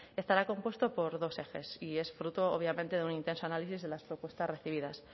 estará compuesto por dos ejes y es fruto obviamente de un intenso análisis de las propuestas recibidas